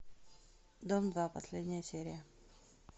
дом два последняя серия